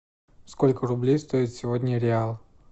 сколько рублей стоит сегодня реал